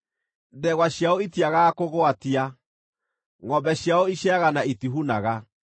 Ndegwa ciao itiagaga kũgwatia; ngʼombe ciao iciaraga, na itihunaga.